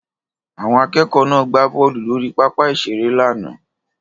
Àwọn akẹ́kọ̀ọ́ náà gbá bọ́ọ̀lù lórí pápá ìṣeré lánàá